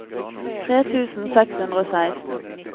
tre tusen seks hundre og seksten